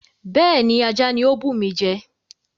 Bẹ́ẹ̀ni, ajá ni ó bùmi jẹ.